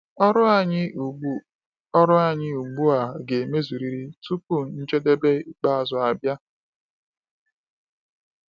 Ọrụ anyị ugbu anyị ugbu a ga-emezurịrị tupu njedebe ikpeazụ abịa.